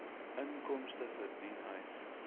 inkomste verdien uit